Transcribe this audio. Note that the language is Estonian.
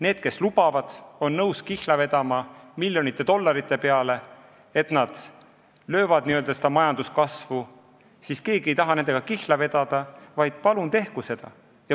Nendega, kes on nõus miljonite dollarite peale kihla vedama, et nad n-ö löövad majanduskasvu, ei taha keegi kihla vedada, vaid, palun, tehku seda.